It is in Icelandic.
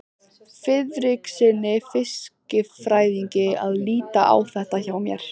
Friðrikssyni fiskifræðingi að líta á þetta hjá mér.